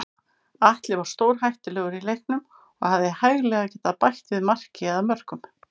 Atli var stórhættulegur í leiknum og hefði hæglega getað bætt við marki eða mörkum.